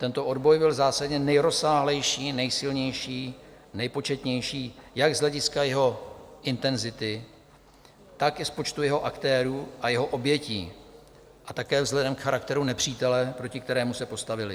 Tento odboj byl zásadně nejrozsáhlejší, nejsilnější, nepočetnější jak z hlediska jeho intenzity, tak i z počtu jeho aktérů a jeho obětí a také vzhledem k charakteru nepřítele, proti kterému se postavili.